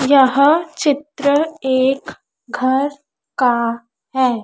यह चित्र एक घर का है।